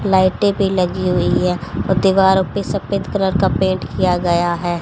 लाइटे भी लगी हुई है और दीवारों पे सफेद कलर का पेंट किया गया है।